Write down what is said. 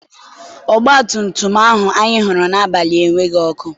ọgbatumtum ahụ anyị hụrụ n'abalị enweghị ọkụ.